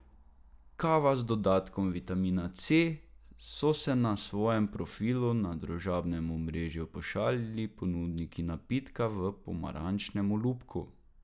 Kava z dodatkom vitamina C, so se na svojem profilu na družbenem omrežju pošalili ponudniki napitka v pomarančnem olupku.